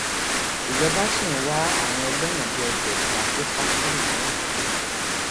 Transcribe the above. ìjọba ṣì ń wá àwọn ẹlẹwọn bíi ẹgbẹta tó sá sá kúrò lọyọọ